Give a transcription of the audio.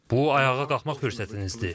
Bu ayağa qalxmaq fürsətinizdir.